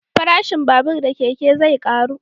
Farashin babur da keke zai karu